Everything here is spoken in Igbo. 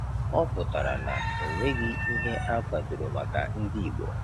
Ọ pụtara na o nweghị ihe akwadoro maka ndị igbo